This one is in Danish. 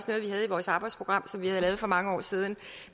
havde i vores arbejdsprogram som vi havde lavet for mange år siden